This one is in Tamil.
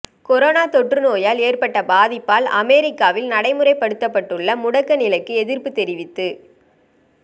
கொரோனா தொற்று நோயால் ஏற்பட்ட பாதிப்பால் அமொிக்காவில் நடைமுறைப்படுத்தப்பட்டுள்ள முடக்க நிலைக்கு எதிர்ப்புத் தெரிவித்து